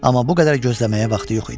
Amma bu qədər gözləməyə vaxtı yox idi.